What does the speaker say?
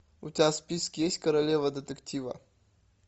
у тебя в списке есть королева детектива